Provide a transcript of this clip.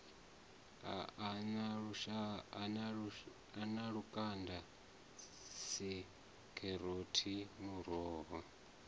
a na lukanda dzikheroti muroho